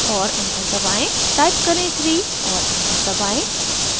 type करें 3 और enter दबाएं